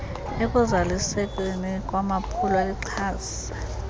ekuzalisekisweni kwamaphulo lixhase